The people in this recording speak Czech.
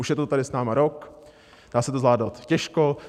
Už je to tady s námi rok, dá se to zvládnout těžko.